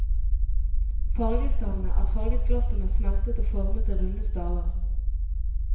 Fargestavene er farget glass som er smeltet og formet til runde staver.